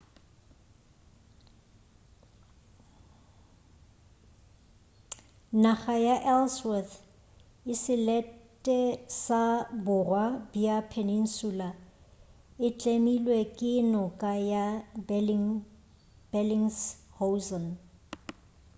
naga ya ellsworth ke selete sa borwa bja peninsula e tlemilwe ke noka ya belingshausen